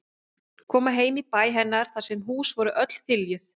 Koma heim í bæ hennar þar sem hús voru öll þiljuð.